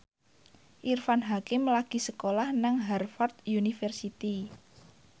Irfan Hakim lagi sekolah nang Harvard university